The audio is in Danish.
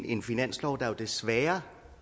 en finanslov der desværre